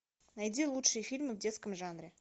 найди лучшие фильмы в детском жанре